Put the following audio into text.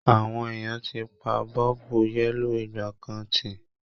Àwọn èèyàn ti pa a bọ́ọ̀bù yẹ́lò ìgbàkan tì